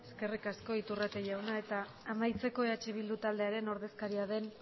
eskerrik asko iturrate jauna eta amaitzeko eh bildu taldearen ordezkaria den